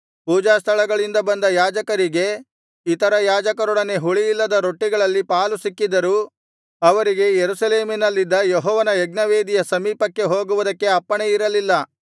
ಪೂಜಾಸ್ಥಳಗಳಿಂದ ಬಂದ ಯಾಜಕರಿಗೆ ಇತರ ಯಾಜಕರೊಡನೆ ಹುಳಿಯಿಲ್ಲದ ರೊಟ್ಟಿಗಳಲ್ಲಿ ಪಾಲುಸಿಕ್ಕಿದರೂ ಅವರಿಗೆ ಯೆರೂಸಲೇಮಿನಲ್ಲಿದ್ದ ಯೆಹೋವನ ಯಜ್ಞವೇದಿಯ ಸಮೀಪಕ್ಕೆ ಹೋಗುವುದಕ್ಕೆ ಅಪ್ಪಣೆಯಿರಲಿಲ್ಲ